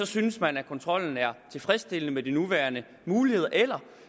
synes man at kontrollen er tilfredsstillende med de nuværende muligheder eller